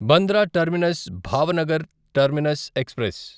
Bandra terminus Bhavnagar terminus express